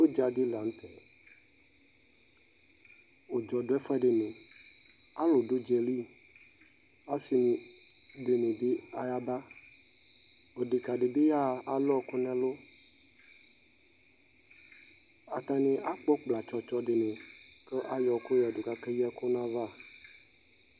Udza di lan'tɛ Ʋdzɔ dʋ ɛfʋɛdini, alʋ d'ʋdza yɛ li, asi dini bi ayaba, odeka di bi yaha, alʋ ɔkʋ n'ɛlʋ Atani akpɔ kpla tsɔ tsɔ di ni kʋ ay'ɔkʋ yǝdʋ k'ak'ey'ɔkʋ n'ayava